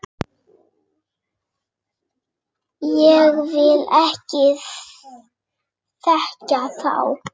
Ég vil ekki þekkja þá.